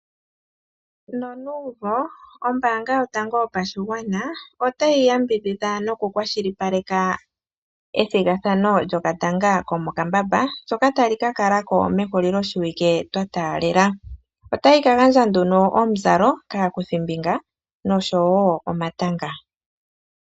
Nonuumvo ombaanga yotango yopashigwana otayi yambidhidha nokukwashilipaleka ethigathano lyokatanga komokambamba shoka tashikakalako mehulilo shiwike twa taalela. Otayi kagandja omuzalo kaakuthimbinga noshowo omatanga.